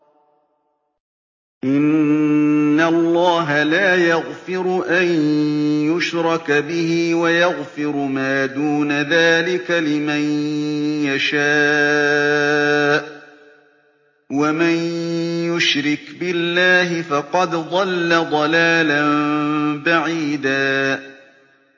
إِنَّ اللَّهَ لَا يَغْفِرُ أَن يُشْرَكَ بِهِ وَيَغْفِرُ مَا دُونَ ذَٰلِكَ لِمَن يَشَاءُ ۚ وَمَن يُشْرِكْ بِاللَّهِ فَقَدْ ضَلَّ ضَلَالًا بَعِيدًا